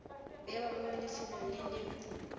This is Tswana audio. bewa mo lefelong le le